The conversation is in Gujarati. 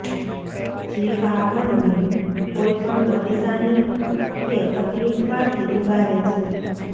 જે આપણને કોઈ પણ પરેશાની કે તકલીફમાંથી ઉગારે છે